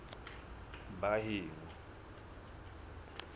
baheno